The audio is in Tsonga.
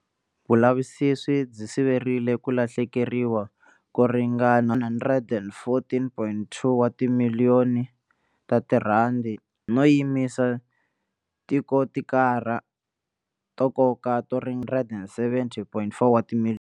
Vulavisisi byi siverile ku lahlekeriwa ko ringana R114.2 wa timiliyoni, no yimisa tikontiraka ta nkoka to ringana R170.4 wa timiliyoni.